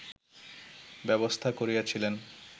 ব্যবস্থা করিয়াছিলেন